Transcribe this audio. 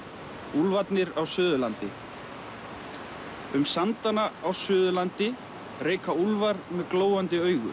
úlfarnir á Suðurlandi um sandana á Suðurlandi reika úlfar með glóandi augu